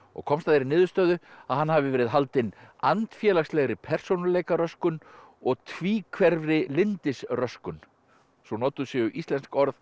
komst að þeirri niðurstöðu að hann hafi verið haldinn andfélagslegri persónuleikaröskun og tvíhverfri lyndisröskun svo notuð séu íslensk orð